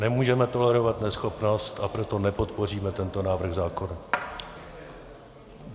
Nemůžeme tolerovat neschopnost, a proto nepodpoříme tento návrh zákona.